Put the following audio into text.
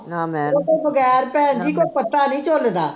ਉਹਤੋਂ ਬਗੈਰ ਭੈਣ ਜੀ ਕੋਈ ਪੱਤਾ ਨੀ ਝੁਲਦਾ